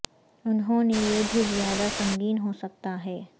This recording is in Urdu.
انہوں نے یہ بھی زیادہ سنگین ہو سکتا ہے